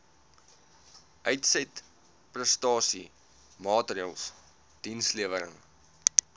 uitsetprestasie maatreëls dienslewerings